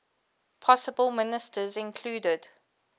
possible ministers included